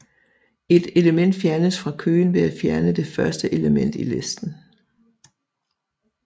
Et element fjernes fra køen ved at fjerne det første element i listen